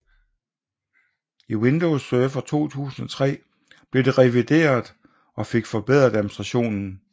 I Windows Server 2003 blev det revideret og fik forbedret administrationen